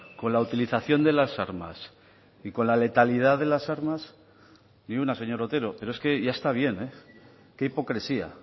con la utilización de las armas y con la letalidad de las armas ni una señor otero pero es que ya está bien qué hipocresía